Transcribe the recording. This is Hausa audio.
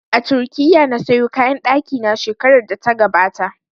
A Turkiya na sayo kayan ɗaki na shekarar da ta gabata